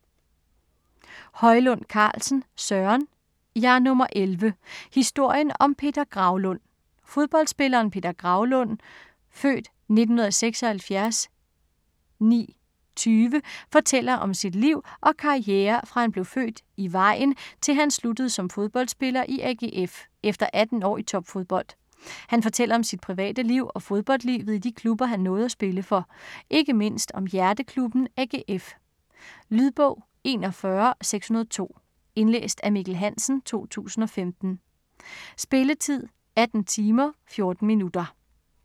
Højlund Carlsen, Søren: Jeg er nummer 11: historien om Peter Graulund Fodboldspilleren Peter Graulund (f. 1976-09-20) fortæller om sit liv og karriere fra han blev født i Vejen til han sluttede som fodboldspiller i AGF, efter 18 år i topfodbold. Han fortæller om sit private liv og fodboldlivet i de klubber han nåede at spille for. Ikke mindst om hjerteklubben AGF. Lydbog 41602 Indlæst af Mikkel Hansen, 2015. Spilletid: 18 timer, 14 minutter.